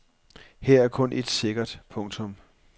Her er kun et sikkert. punktum